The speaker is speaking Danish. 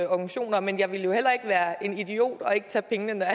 organisationer men jeg ville heller ikke være en idiot og ikke tage pengene når